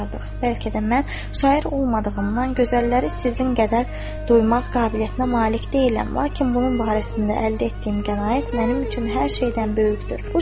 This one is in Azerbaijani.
Bəlkə də mən şair olmadığımdan gözəlləri sizin qədər duymaq qabiliyyətinə malik deyiləm, lakin bunun barəsində əldə etdiyim qənaət mənim üçün hər şeydən böyükdür.